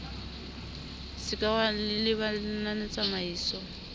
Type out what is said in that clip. se ke wa lebala lenanetsamaiso